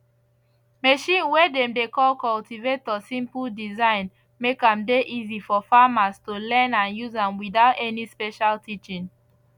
machine way dem dey call cultivator simple design make am dey easy for farmers to learn and use am without any special teaching